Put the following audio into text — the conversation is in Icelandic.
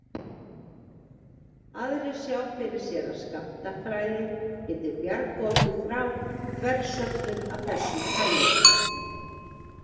Aðrir sjá fyrir sér að skammtafræði geti bjargað okkur frá þversögnum af þessu tagi.